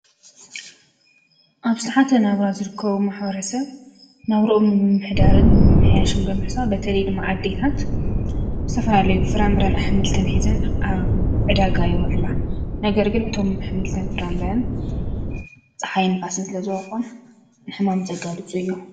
ኣብ ሳሓተ ናብራ ዝርከቡ ማኅወረሰ ናብርኦምኒ ምምህዳርን ምምሕያሹም በምሕሳ በተልድመዓዲታት ሰፈናለይ ፍራምብርን ኣኅምልትን ኂዘን ኣዕዳጋይውዕላ ነገር ግን እቶም ኣኅምልትን ፍራምርን ፀሓይ ንፋስን ስለ ዝዋቖን ንሕማም ዘጋልፁ እዮ